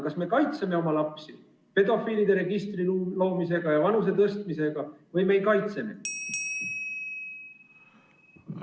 Kas me kaitseme oma lapsi pedofiilide registri loomisega ja vanusepiiri tõstmisega või ei kaitse?